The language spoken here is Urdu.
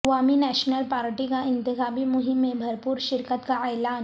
عوامی نیشنل پارٹی کا انتخابی مہم میں بھرپور شرکت کا اعلان